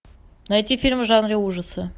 найти фильм в жанре ужасы